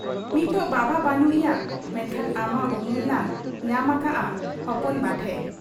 ᱱᱤᱛ ᱵᱟᱵᱟ ᱵᱟᱹᱱᱩᱜ ᱮᱭᱟ ᱾ ᱢᱮᱱᱠᱷᱟᱱ ᱟᱢᱟᱜ ᱩᱢᱩᱞ ᱞᱟᱝ ᱧᱟᱢ ᱟᱠᱟᱜ ᱟ ᱦᱚᱯᱚᱱ ᱵᱟ ᱴᱷᱮᱫ ᱾